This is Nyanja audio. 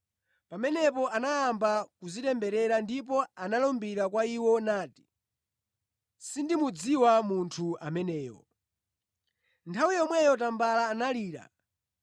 Pamenepo anayamba kudzitemberera ndipo analumbira kwa iwo nati, “Sindimudziwa munthu ameneyo!” Nthawi yomweyo tambala analira.